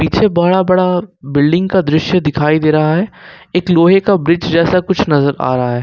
पीछे बड़ा बड़ा बिल्डिंग का दृश्य दिखाई दे रहा है एक लोहे का ब्रिज जैसा कुछ नजर आ रहा है।